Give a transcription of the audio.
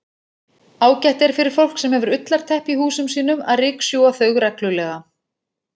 Ágætt er fyrir fólk sem hefur ullarteppi í húsum sínum að ryksjúga þau reglulega.